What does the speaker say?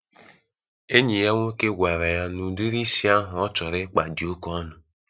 Enyi ya nwoke gwara ya na udiri isi ahụ ọ chọrọ ịkpa di oke ọnụ.